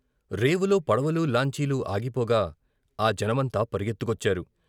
రేవులో పడవలు, లాంచీలు ఆగిపోగా ఆ జనమంతా పరిగెత్తుకొచ్చారు.